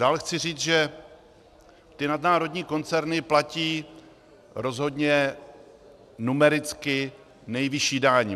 Dále chci říct, že ty nadnárodní koncerny platí rozhodně numericky nejvyšší daň.